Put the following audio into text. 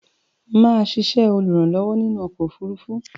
Mà á sisẹ́ olùrànlówó inú okò òfurufú